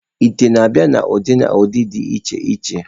Ite na-abịa n'ụdị na nha dị iche iche.